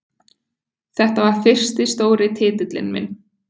Þetta var fyrsti stóri titillinn minn.